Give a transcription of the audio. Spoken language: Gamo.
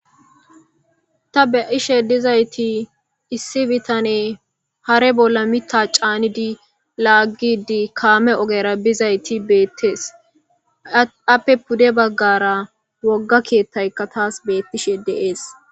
ta beishe dizayti issi bitane hare bolla mita caanidi laaggidi kaame ogera bizayti beettees appe pude baggara wogga kiettayka taas beettishe deees